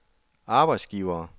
arbejdsgivere